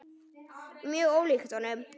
Mjög ólíkt honum.